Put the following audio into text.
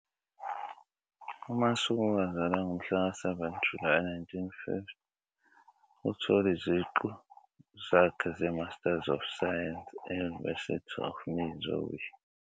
UMasuku wazalwa ngomhlaka 7 Julayi 1950. Uthole iziqu zakhe zeMasters of Science e-University of Missouri.